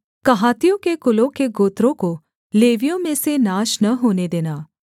कहातियों के कुलों के गोत्रों को लेवियों में से नाश न होने देना